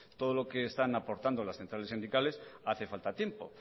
todo lo que están aportando las centrales sindicales hace falta tiempo